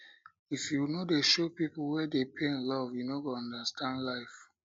if you no dey show pipu wey dey pain love you no go understand life